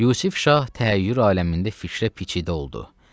Yusif şah təəyyür aləmində fikrə biçidə oldu.